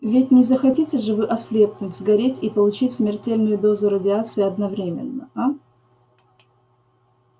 ведь не захотите же вы ослепнуть сгореть и получить смертельную дозу радиации одновременно а